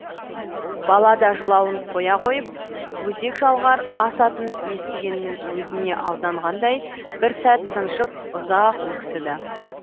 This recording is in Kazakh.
бала да жылауын қоя қойып өзек жалғар ас атын естігеннің өзіне алданғандай бір сәт тыншып ұзақ өксіді